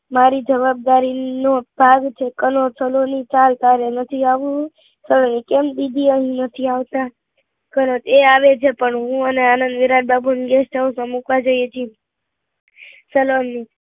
મારી જવાબદારી નો ભાવ છે કનોજ સલોની ચલ તારે નથી આવવું સલોની કેમ દીદી અહી નથી અવાતા કનોજ એ આવે છે પણ હું ને આનંદ વિરાટ બાબુ ને guest house એ મુકવા જઈએ છીએ સલોની